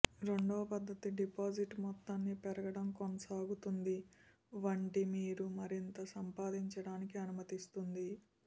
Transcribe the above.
రెండవ పద్ధతి డిపాజిట్ మొత్తాన్ని పెరగడం కొనసాగుతుంది వంటి మీరు మరింత సంపాదించడానికి అనుమతిస్తుంది